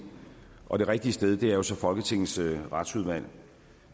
og det rigtige sted er jo så folketingets retsudvalg